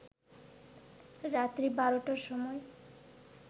রাত্রি ১২টার সময়